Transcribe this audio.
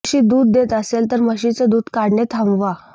म्हशी दूध देत असेल तर म्हशीचे दूध काढणे थांबवा